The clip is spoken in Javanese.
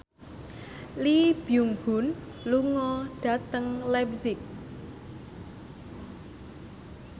Lee Byung Hun lunga dhateng leipzig